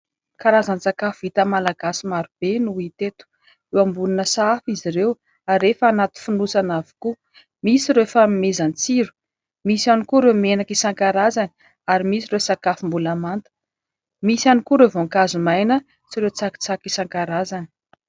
Karazana sakafo vita malagasy maro be no hita eto. Eo ambonin'ny sahafa izy ireo ary rehefa anaty fonosana avokoa. Misy ireo fanomezan-tsiro. Misy ihany koa ireo menaka isankarazany ary misy ireo sakafo mbola manta. Misy ihany koa ireo voankazo maina sy ireo tsakitsaky isankarazany.